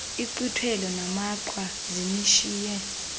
inkqwithelo namaqhwa zinishiye